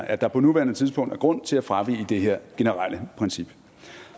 at der på nuværende tidspunkt er grund til at fravige det her generelle princip